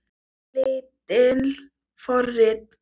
Lítil forrit